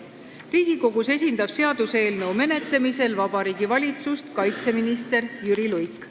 Seaduseelnõu menetlemisel Riigikogus esindab Vabariigi Valitsust kaitseminister Jüri Luik.